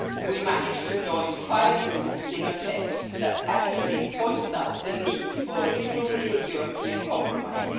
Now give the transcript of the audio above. We managed to join five groups in a text that actually points out the need for a truly European compromise.